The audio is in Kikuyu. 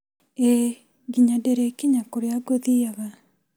ĨĨ nginya ndĩrĩkinya kũrĩa ngũthiĩaga